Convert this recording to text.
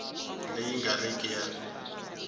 leyi nga ri ki ya